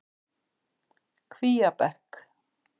Kvíabekk